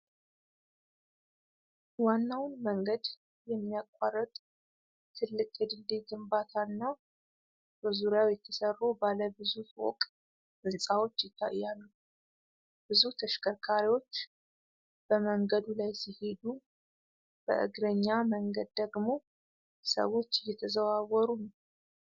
ዋናውን መንገድ የሚያቋርጥ ትልቅ የድልድይ ግንባታ እና በዙሪያው የተሰሩ ባለ ብዙ ፎቅ ሕንፃዎች ይታያሉ። ብዙ ተሽከርካሪዎች በመንገዱ ላይ ሲሄዱ፣ በእግረኛ መንገድ ደግሞ ሰዎች እየተዘዋወሩ ነው።